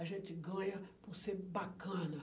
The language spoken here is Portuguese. A gente ganha por ser bacana.